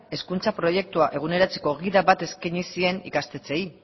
hezkuntza proiektua eguneratzeko gida bat eskaini zien ikastetxeei